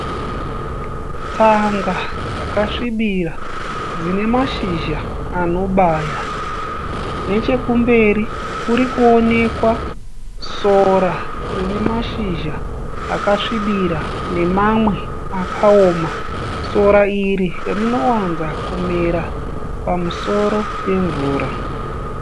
Tsanga dzakasvibira dzine mashizha anobaya. Nechekumberi kurikuwonekwa sora rine mashizha akasvibira nemamwe akaoma. Sora iri rinowanza kumera pamusoro pemvura.